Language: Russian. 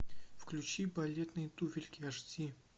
включи балетные туфельки аш ди